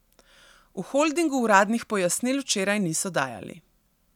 V holdingu uradnih pojasnil včeraj niso dajali.